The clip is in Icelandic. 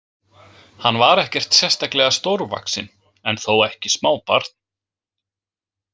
Hann var ekkert sérstaklega stórvaxinn en þó ekki smábarn.